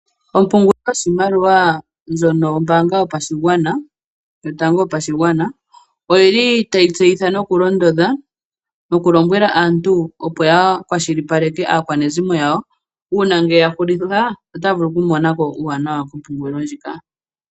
Ompungulilo yoshimaliwa ndjono yombaanga yotango yopashigwana oyili tayi tseyithile nokulondodha, nokulombwela aantu opo ya kwashilipaleke aakwanezimo yawo, uuna ngele ya hulitha otaya vulu oku mona ko uuwanawa kompungulilo ndjika.